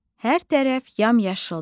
Hər tərəf yamyaşıldır.